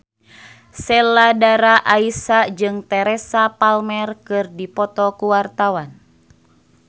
Sheila Dara Aisha jeung Teresa Palmer keur dipoto ku wartawan